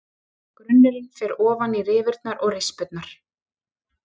Grunnurinn fer ofan í rifurnar og rispurnar.